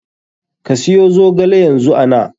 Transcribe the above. Ka siyo zogale yanzu ana.